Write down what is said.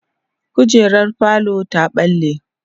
kujerar falo ta ɓalle